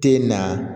Te na